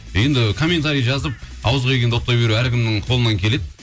енді комментария жазып ауызға келгенді оттай беру әркімнің қолынан келеді